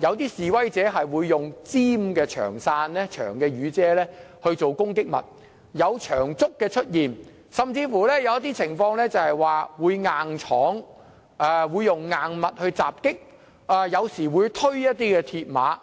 有示威者以尖銳的長傘作為攻擊物，亦曾出現長竹，更有人硬闖或以硬物襲擊他人，有時候亦會推倒鐵馬。